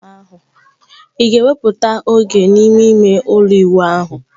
Ị ga-ewepụta oge n'ime ime ụlọ ịwụ ahụ?